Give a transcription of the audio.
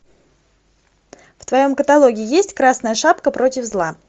в твоем каталоге есть красная шапка против зла